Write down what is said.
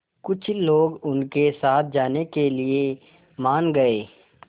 कुछ लोग उनके साथ जाने के लिए मान गए